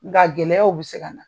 Nga gɛlɛyaw bɛ se ka na